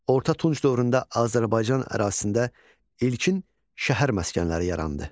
Orta Tunc dövründə Azərbaycan ərazisində ilkin şəhər məskənləri yarandı.